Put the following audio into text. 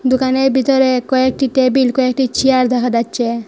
দুকানের বিতরে কয়েকটি টেবিল কয়েকটি চিয়ার দেখা যাচ্চে।